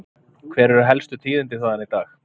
Hver eru helstu tíðindi þaðan í dag?